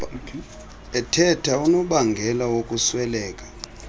ethatha unobangela wokusweleka